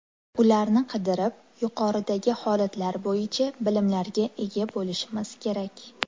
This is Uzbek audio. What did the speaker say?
Ularni qidirib, yuqoridagi holatlar bo‘yicha bilimlarga ega bo‘lishimiz kerak.